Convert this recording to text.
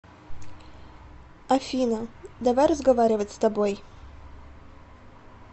афина давай разговаривать с тобой